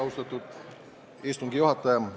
Austatud istungi juhataja!